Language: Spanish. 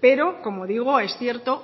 pero como digo es cierto